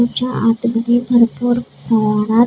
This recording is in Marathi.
याच्या आतमध्ये भरपूर प्रमाणात--